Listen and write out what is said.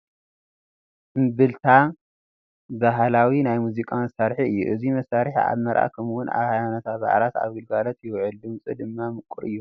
እምብልታ ባህላዊ ናይ ሙዚቃ መሳርሒ እዩ፡፡ እዚ መሳርሒ ኣብ መርዓ ከምኡውን ኣብ ሃይማኖታዊ በዓላት ኣብ ግልጋሎት ይውዕል፡፡ ድምፁ ድማ ምቑር እዩ፡፡